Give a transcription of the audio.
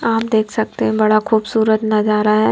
आप देख सकते हैं बड़ा खूबसूरत नजारा है।